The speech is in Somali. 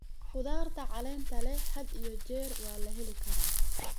Khudaarta caleenta leh had iyo jeer waa la heli karaa.